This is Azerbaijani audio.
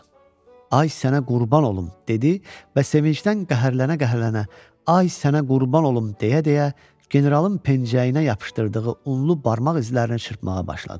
Ay sənə qurban olum, dedi və sevincdən qəhərlənə-qəhərlənə, ay sənə qurban olum deyə-deyə generalın pencəyinə yapışdırdığı unlu barmaq izlərini çırpmağa başladı.